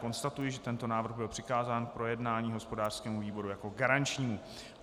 Konstatuji, že tento návrh byl přikázán k projednání hospodářskému výboru jako garančnímu.